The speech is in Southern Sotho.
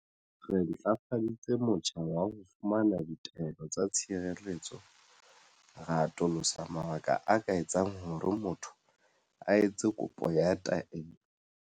Re ntlafaditse motjha wa ho fumana ditaelo tsa tshireletso, ra atolosa mabaka a ka etsang hore motho a etse kopo ya taelo.